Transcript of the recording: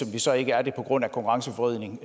vi så ikke er det på grund af konkurrenceforvridning